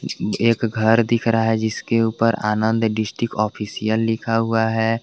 एक घर दिख रहा है जिसके ऊपर आनंद डिस्टिक ऑफिशयल लिखा हुआ है।